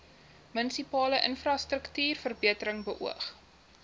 munisipale infrastruktuurverbetering beoog